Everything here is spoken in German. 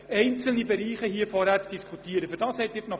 Dafür steht Ihnen die Novembersession zur Verfügung.